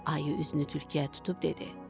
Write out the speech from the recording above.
Ayı üzünü tülküyə tutub dedi: